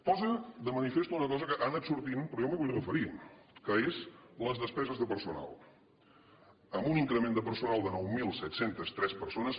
posa de manifest una cosa que ha anat sortint però jo m’hi vull referir que és les despeses de personal amb un increment de personal de nou mil set cents i tres persones